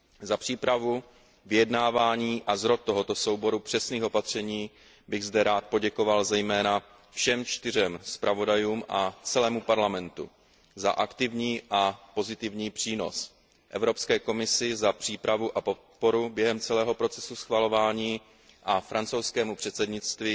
Za přípravu, vyjednávání a zrod tohoto souboru přesných opatření bych zde rád poděkoval zejména všem čtyřem zpravodajům a celému Parlamentu za aktivní a pozitivní přínos, Evropské komisi za přípravu a podporu během celého procesu schvalování a francouzskému předsednictví